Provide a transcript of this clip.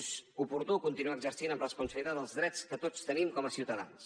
és oportú continuar exercint amb responsabilitat els drets que tots tenim com a ciutadans